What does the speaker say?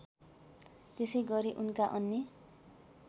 त्यसैगरी उनका अन्य